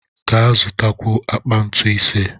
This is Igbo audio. Ga zụtakwuo akpa ntu ise!